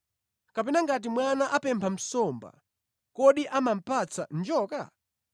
Kapena ngati mwana apempha nsomba, kodi amamupatsa njoka?